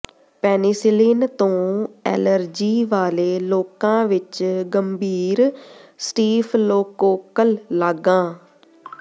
penicillin ਤੋਂ allergy ਵਾਲੇ ਲੋਕਾਂ ਵਿੱਚ ਗੰਭੀਰ ਸਟੀਫਲੋਕੋਕਲ ਲਾਗਾਂ